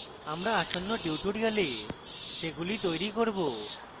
আমরা আসন্ন tutorials সেগুলি তৈরী করব